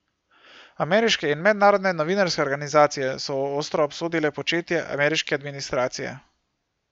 Ameriške in mednarodne novinarske organizacije so ostro obsodile početje ameriške administracije.